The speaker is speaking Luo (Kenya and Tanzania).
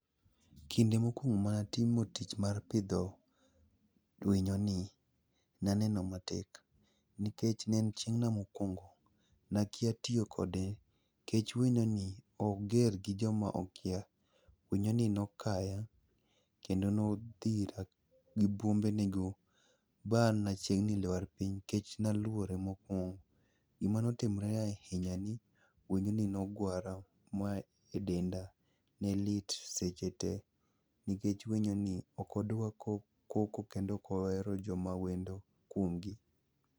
kinde mokwongo manatimo tich mar pidho winyoni, naneno matek, nikech ne en chieng'na mokwongo, nakia tiyo kode nikech winyoni, oger gi joma okia. Winyoni nokaya kendo nodhira gi bwombenego ba an nachiegni lwar piny, nikech naluore mokwongo. Gimanotimre ahinya ni winyoni nogwara ma e denda ne lit sechete nikech winyoni ok odwa koko, kendo ok ohero joma wendo kuomgi.